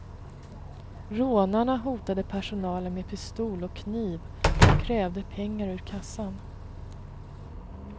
Rånarna hotade personalen med pistol och kniv och krävde pengar ur kassan.